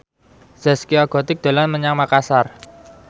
Zaskia Gotik dolan menyang Makasar